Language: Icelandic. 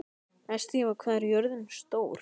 Estiva, hvað er jörðin stór?